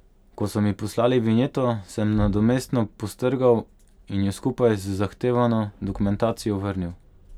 Ko so mi poslali vinjeto, sem nadomestno postrgal in jo skupaj z zahtevano dokumentacijo vrnil.